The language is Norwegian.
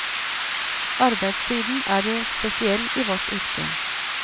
Arbeidstiden er jo spesiell i vårt yrke.